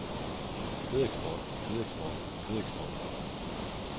kødeksport kødeksport kødeksport